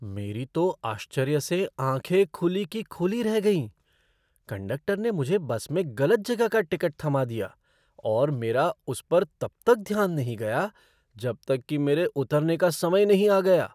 मेरी तो आश्चर्य से आँखें खुली की खुली रह गईं! कंडक्टर ने मुझे बस में गलत जगह का टिकट थमा दिया, और मेरा उस पर तब तक ध्यान नहीं गया जब तक कि मेरे उतरने का समय नहीं आ गया!